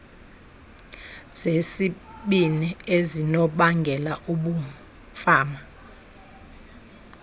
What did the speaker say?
zesibini ezinobangela ubumfama